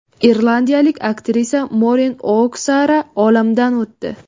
Irlandiyalik aktrisa Morin O‘Xara olamdan o‘tdi.